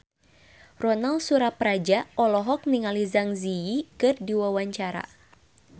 Ronal Surapradja olohok ningali Zang Zi Yi keur diwawancara